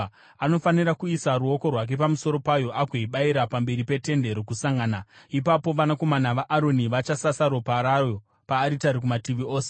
Anofanira kuisa ruoko rwake pamusoro payo agoibayira pamberi peTende Rokusangana. Ipapo vanakomana vaAroni vachasasa ropa rayo paaritari kumativi ose.